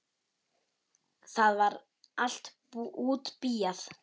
Það var allt útbíað.